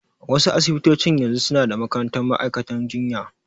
Wa su asibitocin yanzu su na da makarantar ma'aikantan jinya